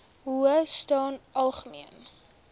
howe staan algemeen